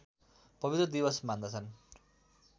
पवित्र दिवस मान्दछन्